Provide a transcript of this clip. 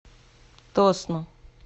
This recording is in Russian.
тосно